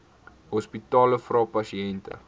hospitale vra pasiënte